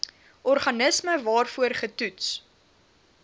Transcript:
organisme waarvoor getoets